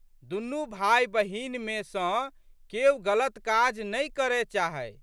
दुनू भाइबहिनमे सँ केओ गलत काज नहि करए चाहै।